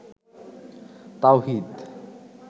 তাওহীদ